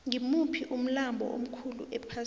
ngimuphi umlambo omkhulu ephasini